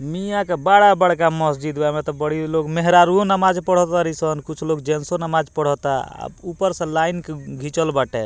मिया का बाड़ा बड़का मस्जिद बा एहमे ता बड़ी लोग मेहरारुवो नमाज़ पढ़ा ताड़ी सन कुछ लोग जेन्टसो नमाज़ पढ़ा ता ऊपर से लाइन घीचल बाटे।